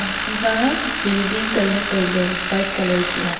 ema building building colour kuk aa.